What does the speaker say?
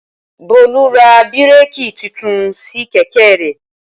Bólú ra bírèkì titun sí kẹ̀kẹ́ rẹ̀